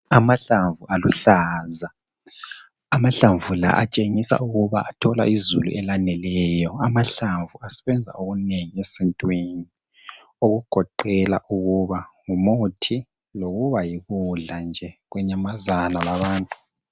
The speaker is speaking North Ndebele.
Amahlamvu aluhlaza amahlamvu la atshengisa ukuba athola izulu elaneleyo. Amahlamvu asebenza okunengi esintwini okugoqela ukuba ngumuthi lokuba yikudla nje kwenyamazana labantu.